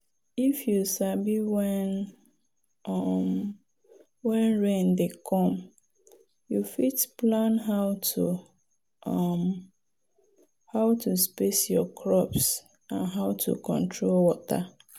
if you sabi when um rain dey come you fit plan how to um space your crops and how to control water.